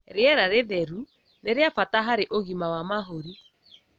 Rĩera rĩtheru nĩ rĩa bata harĩ ũgima wa mahũri